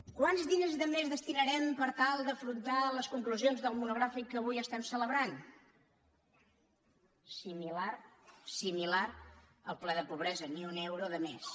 quants diners de més destinarem per tal d’afrontar les conclusions del monogràfic que avui estem celebrant similar al ple de pobresa ni un euro de més